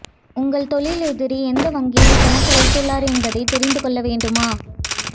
உங்கள் தொழில் எதிரி எந்த வங்கியில் கணக்கு வைத்துள்ளார் என்பதை தெரிந்து கொள்ள வேண்டுமா